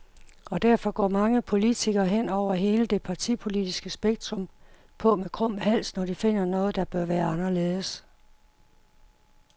Og derfor går mange politikere, hen over hele det partipolitiske spektrum, på med krum hals, når de finder noget, der bør være anderledes.